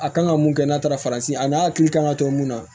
A kan ka mun kɛ n'a taara farafin a n'a hakili kan ka kɛ mun na